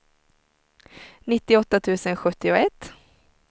nittioåtta tusen sjuttioett